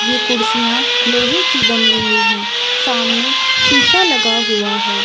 ये कुर्सिया लोहे की बनी हुई है सामने शीशा लगा हुआ है।